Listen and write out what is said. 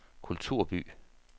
kulturby